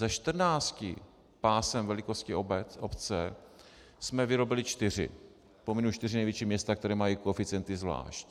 Ze 14 pásem velikostí obce jsme vyrobili 4, pominu 4 největší města, která mají koeficienty zvlášť.